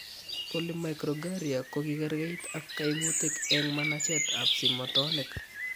Polymicrogyria kokikekerkeit ak kaimutic eng' manacheet ab simotonik